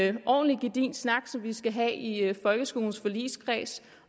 en ordentlig gedigen snak som vi skal have i folkeskolens forligskreds